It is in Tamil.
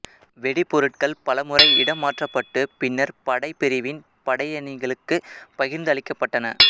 வெடிபொருட்கள் பல முறை இடம் மாற்றபட்டு பின்னர் படைப்பிரிவின் படையணிகள்ளுக்கு பகிர்ந்து அளிக்கபட்டன